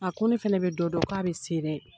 A ko ne fɛnɛ bɛ dɔ dɔn k'a bɛ se dɛ!